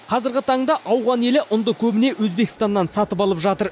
қазіргі таңда ауған елі ұнды көбіне өзбекстаннан сатып алып жатыр